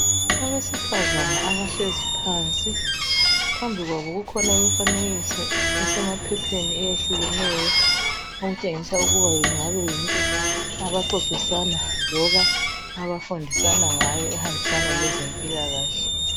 Abesifazana abahlezi phansi phambi kwabo kukhona imifanekiso esemaphepheni eyehlukeneyo okutshengisa ukuba kungaba yinto abaxoxisana loba abafundisana ngayo ehambisana leze mpilakahle